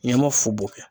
N ye ma fu bo kɛ